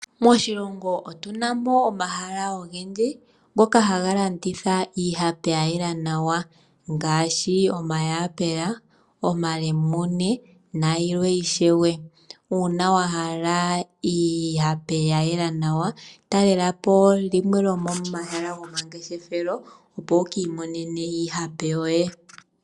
Moshilongo otu na mo omahala ogendji ngoka haga landitha iihape ya yela naw, ngaashi omayapula, omalemune niikwawo oyindji. Uuna wa hala iihape ya yela nawa, talela po limwe lyomomahala gomangeshefelo, opo wu ki imonene iihape yoye.